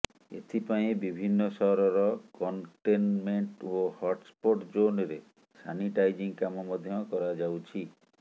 ଏଥିପାଇଁ ବିଭିନ୍ନ ସହରର କନଟେନମେଣ୍ଟ ଓ ହଟସ୍ପୋଟ ଜୋନରେ ସାନିଟାଇଜିଂ କାମ ମଧ୍ୟ କରାଯାଉଛି